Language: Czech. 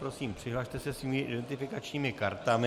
Prosím, přihlaste se svými identifikačními kartami.